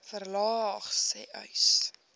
verlaag sê uys